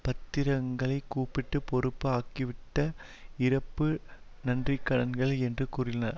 பத்திரங்களை கூட்டு பொறுப்பு ஆக்கப்பட்டுவிட்ட இறப்பு நன்றிக்கடன்கள் என்று கூறியுள்ளார்